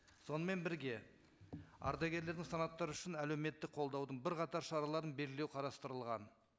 сонымен бірге ардагерлердің санаттары үшін әлеуметтік қолдаудың бірқатар шараларын белгілеу қарастырылған